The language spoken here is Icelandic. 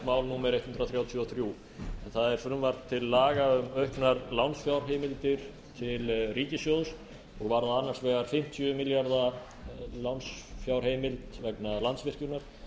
mál númer hundrað þrjátíu og þrjú en það er frumvarp til laga um auknar lánsfjárheimildir til ríkissjóðs og varðar annars vegar fimmtíu milljarða lánsfjárheimild vegna landsvirkjunar